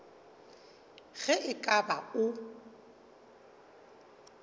ge e ka ba o